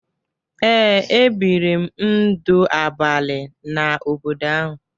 Ee, ebiri m ndụ abalị n’obodo ahụ